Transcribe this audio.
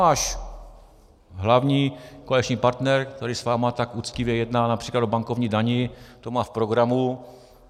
Váš hlavní koaliční partner, který s vámi tak uctivě jedná například o bankovní dani, to má v programu.